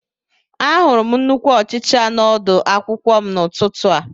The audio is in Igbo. Ahụrụ m nnukwu ọchịcha n'ọdu akwụkwọ m n'ụtụtụ a